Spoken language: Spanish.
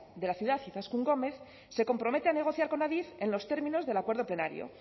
de la ciudad izaskun gomez se compromete a negociar con adif en los términos del acuerdo plenario